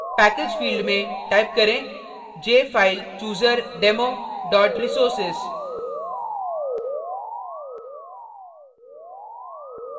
package field में type करें jfilechooserdemo resources